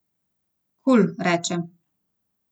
Kul, reče.